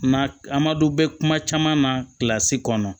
Na an ma don bɛɛ kuma caman na kɔnɔ